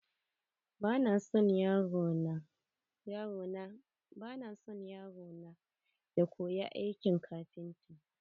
Ba na son yaro na ya koyi aikin kafinta.